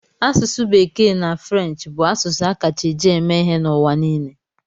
Asụsụ Bekee na French bụ asụsụ a kacha eji eme ihe n'ụwa niile.